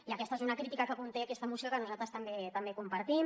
i aquesta és una crítica que conté aquesta moció que nosaltres també compartim